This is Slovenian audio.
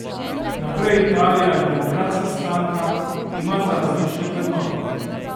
Naprej Italija in Demokratska stranka imata različne vrednote.